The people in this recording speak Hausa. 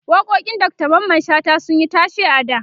waƙoƙin Dr Mamman shata sunyi tashe a da